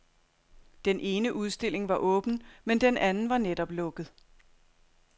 Den ene udstilling var åben, men den anden var netop lukket.